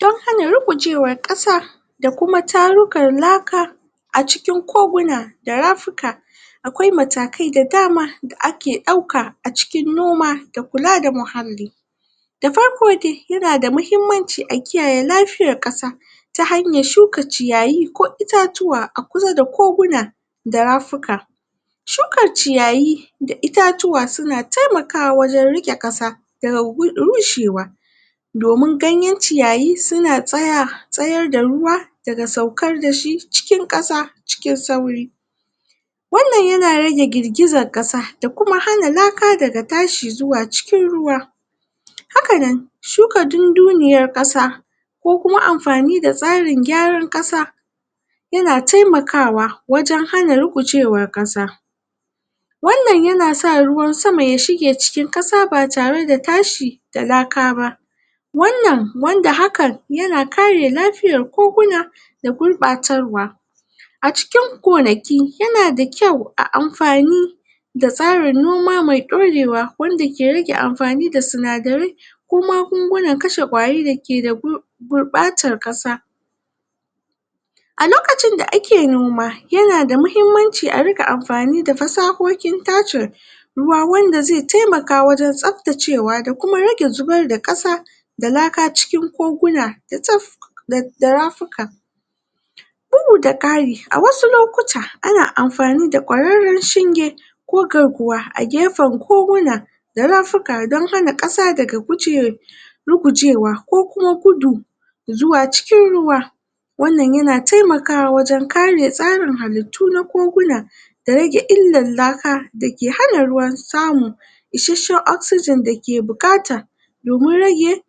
dan hana rugujewan kasa da kuma tarukan laka a cikin koguna da rafuka akwai matakai da dama da ake dauka a cikin noma da kula da muhalli da farko dai, yana da mahimmanci a kiyaye lafiyan kasa ta hanyan tsuka ciyayi ko itatuwa a kusa da koguna da rafuka shuka ciyayi da rafuka suna taimakwa wajen rike kasa da ga rushewa domin ganyen ciyayi suna tsayar da ruwa da ga saukar dashi cikin kasa cikin sauri wan nan yana rage girgizan kasa da kuma hana laka daga tashi zuwa cikin ruwa haka nan tsuka dunduniyar kasa ko kuma anfani da tsarin gwaran kasa yana taimakawa wajen hana rugujewan kasa wan nan yana sa ruwan sama ya, shige cikin kasa ba tare da tashi da lakaba wan nan wanda hakan, yana kare lafiyan koguna da gurbacewa a ciki gonaki yana da kyau ayi anfani da tsarin noma mai dorewa wanda, ke rike anfani da sinadarai da kuma magungunan kashe kwari da ke da gurbatan kasa a lokacin da ake noma, yana da, muhimmanci a rinka, anfani a da fasahohin tace ruwa wanda zai taimaka wajen, tsabtacewa da rage zubar da kasa da laka cikin koguna da rafuka, ya tsab, da rafika bugu da kari, a wasu lokuta, ana anfani da kwararren shinge ko garkuwa a gefen koguna da rafika dan hana kasa daga gujewa rigujewa ko kuma gudu zuwa cikin ruwa wan nan na taimakwa wajen kare tsarin halittu na koguna da rage illan laka da ke hana ruwa samu isheshen Oxygen da ke bukata domin rage